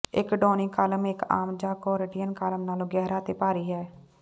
ਇੱਕ Doric column ਇੱਕ ਆਮ ਜਾਂ ਕੋਰੀਟੀਅਨ ਕਾਲਮ ਨਾਲੋਂ ਗਹਿਰਾ ਅਤੇ ਭਾਰੀ ਹੈ